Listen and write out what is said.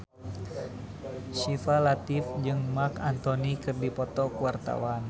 Syifa Latief jeung Marc Anthony keur dipoto ku wartawan